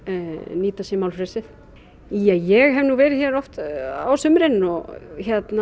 nýta sér málfrelsið ég hef nú verið hér oft á sumrin og